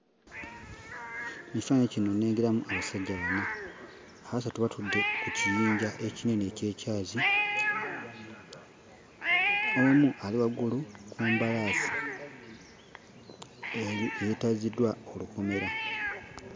Mu kifaananyi kino nnengeramu abasajja bana. Abasatu batudde ku kiyinja ekinene eky'ekyazi, omu ali waggulu ku mbalaasi eri eyeetaziddwa olukomera.